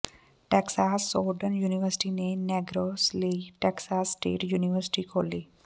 Texas Southern university ਨੇ Negroes ਲਈ Texas state university ਖੋਲ੍ਹੀ